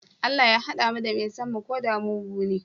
Allah Ya hada mu da mai son mu koda mugune?